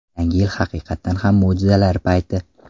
Yangi yil haqiqatan ham mo‘jizalar payti.